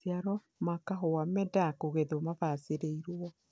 maciaro ma kahua meendaga kugethwo mabaciriirwo.